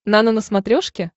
нано на смотрешке